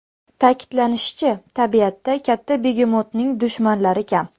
Ta’kidlanishicha, tabiatda katta begemotning dushmanlari kam.